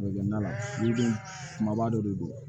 kumaba dɔ de don